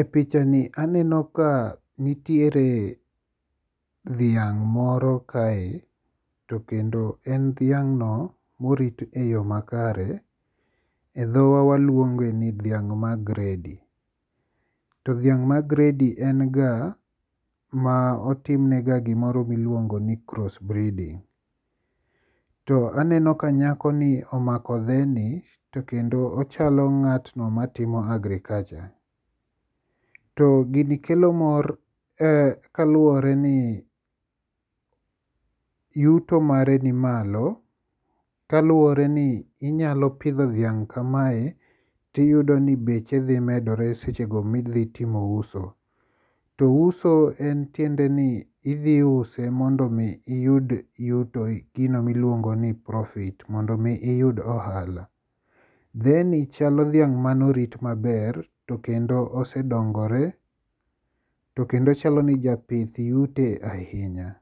E pichani aneno ka nitiere dhiang' moro kae to kendo en dhiang'no morit e yo makare e dhowa waluonge ni dhiang' ma gredi, to dhiang' ma gredi en ga ma otimne ga gimoro miluongo ni cross breeding. To aneno ka nyakoni omako dheni to kendo ochalo ng'atno matimo agriculture. To gini kelo mor kaluwore ni yuto mare ni malo kaluwore ni inyalo pidho dhiang' kamae tiyudo ni beche dhimedore sechego midhitimo uso. To uso en tiende ni idhiuse mondo omi iyud yuto gino miluongo ni profit mondo omi iyud ohala. Dheni chalo dhiang' manorit maber to kendo osedongore to kendo chalo ni japith yute ahinya,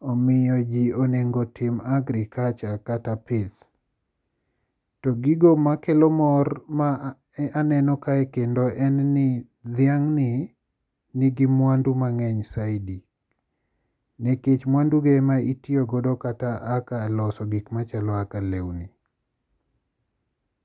omiyo ji onego tim agriculture kata pith. To gigo makelo mor ma aneno kae kendo en ni dhiang'ni nigi mwandu mang'eny saidi, nikech mwanduge ema itiyogodo kata aka loso gikmachalo aka lewni.